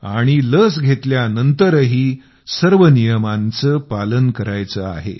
आणि लस घेतल्यानंतरही सर्व नियमांचे पालन करायचे आहे